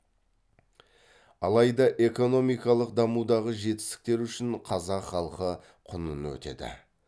алайда экономикалық дамудағы жетістіктер үшін қазақ халқы құнын өтеді